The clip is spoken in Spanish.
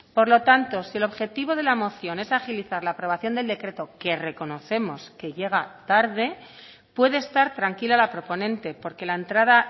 por lo tanto si el objetivo de la moción es agilizar la aprobación del decreto que reconocemos que llega tarde puede estar tranquila la proponente porque la entrada